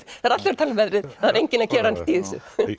það eru allir tala um veðrið en enginn að gera neitt í þessu